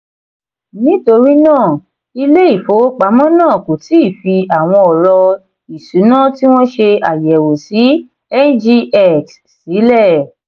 nítorí náà ilé ìfowópamọ́ náà kò tí ì fi àwọn ọ̀rọ̀ ìṣúná tí wọ́n ṣe àyẹ̀wò sí ngx sílẹ̀.